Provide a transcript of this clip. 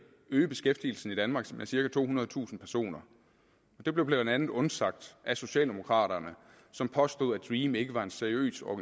øge beskæftigelsen i danmark med cirka tohundredetusind personer det blev blandt andet undsagt af socialdemokraterne som påstod at dream ikke var en seriøs